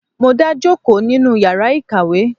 Mo n dá jòkó nínú yàrá ìkàwé.